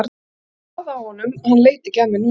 Og ég sá það á honum, hann leit ekki af mér núna.